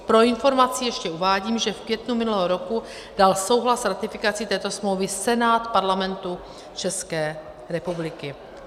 Pro informaci ještě uvádím, že v květnu minulého roku dal souhlas s ratifikací této smlouvy Senát Parlamentu České republiky.